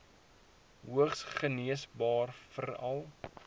hoogs geneesbaar veral